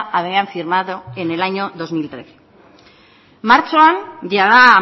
habían firmado en el año dos mil trece martxoan jada